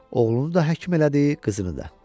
Oğlunu da həkim elədi, qızını da.